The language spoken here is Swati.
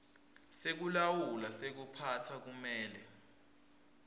sekulawula sekuphatsa kumele